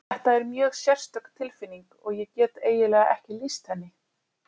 Þetta er mjög sérstök tilfinning og ég get eiginlega ekki lýst henni.